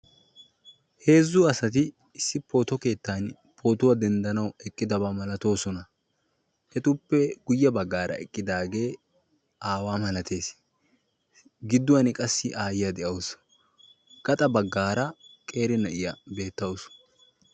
Heezzu asatti issi pooto keettan pootuwa denddanawu eqqidaba malatosonna. etappe guyye baggaara eqidaagee aawa malatees gidduwan qassi aayiyaa de'awusu gaxa baggaara qeeri nayiyya beettaawus.